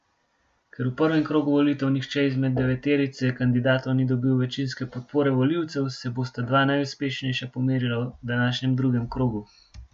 Ker v prvem krogu volitev nihče izmed deveterice kandidatov ni dobil večinske podpore volivcev, se bosta dva najuspešnejša pomerila v današnjem drugem krogu.